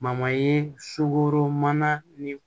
ye sukoro mana ni